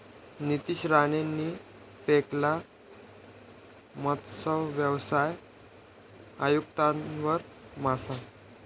नितेश राणेंनी फेकला मत्सव्यवसाय आयुक्तांवर मासा